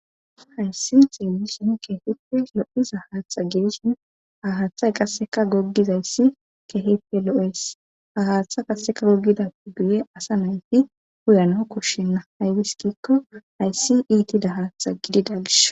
Hayssi xeelisson keehippe lo7iza haaththa gedisin ha haaththay qasseka goggizayssi keehippe lo7es ha haaththa kasseka goggidaf guye asa nayfi huyano koshshenna haywis kiikko hayssi iitida haatha gidi dalsh.